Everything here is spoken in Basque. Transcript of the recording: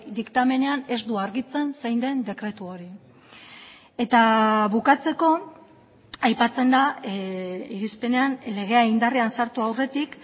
diktamenean ez du argitzen zein den dekretu hori eta bukatzeko aipatzen da irizpenean legea indarrean sartu aurretik